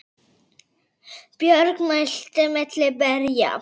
Björg mælti milli berja